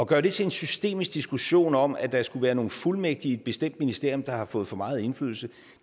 gøre det til en systemisk diskussion om at der skulle være nogle fuldmægtige i et bestemt ministerium der har fået for meget indflydelse